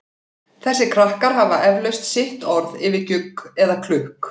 Þessir krakkar hafa eflaust sitt orð yfir gjugg eða klukk.